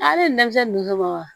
Ale ye denmisɛn nun ka baga